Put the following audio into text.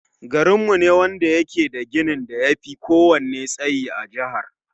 Garinmu shi ne wanda yake da ginin da yafi ko wanne tsayi a jahar